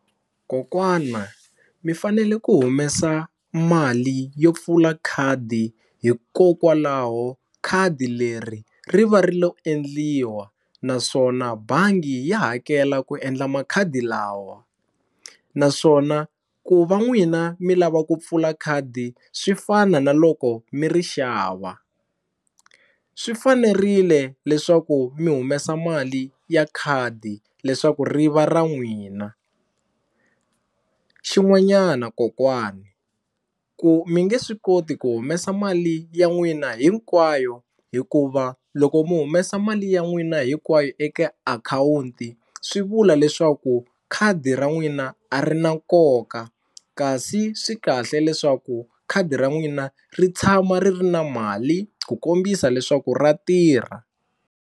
Kokwana mi fanele ku humesa mali yo pfula khadi hikokwalaho khadi leri ri va ri lo endliwa naswona bangi ya hakela ku endla makhadi lawa naswona ku va n'wina mi lava ku pfula khadi swi fana na loko mi ri xava, swi fanerile leswaku mi humesa mali ya khadi leswaku ri va ra n'wina xin'wanyana kokwani ku mi nge swi koti ku humesa mali ya n'wina hinkwayo hikuva loko mi humesa mali ya n'wina hinkwayo eka akhawunti swi vula leswaku khadi ra n'wina a ri na nkoka kasi swi kahle leswaku khadi ra n'wina ri tshama ri ri na mali ku kombisa leswaku ra tirha.